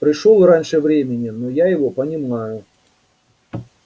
пришёл раньше времени но я его понимаю